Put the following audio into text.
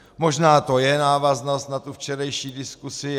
Možná to je návaznost na tu včerejší diskusi.